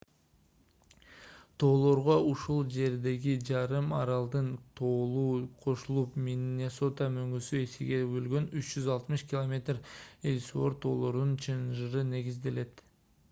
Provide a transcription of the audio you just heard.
тоолорго ушул жердеги жарым аралдын тоолору кошулуп миннесота мөңгүсү экиге бөлгөн 360 км эллсуорт тоолорунун чынжыры негизделет